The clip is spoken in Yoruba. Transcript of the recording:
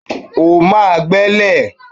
O máa gbẹ́lẹ̀!